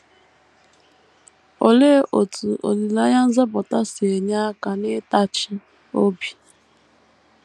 Olee otú “ olileanya nzọpụta ” si enye aka n’ịtachi obi?